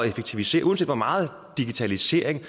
effektivisere uanset hvor meget digitalisering